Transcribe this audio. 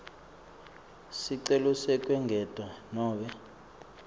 sicelo sekwengetwa nobe